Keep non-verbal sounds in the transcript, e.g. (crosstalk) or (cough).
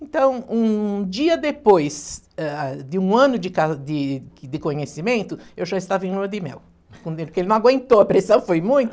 Então, um dia depois, ah, de um ano de ca de de conhecimento, eu já estava em lua de mel, (unintelligible) porque ele não aguentou, a pressão foi muita.